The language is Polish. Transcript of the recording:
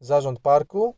zarząd parku